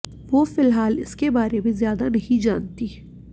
वो फिलहाल इसके बारे में ज्यादा नहीं जानतीं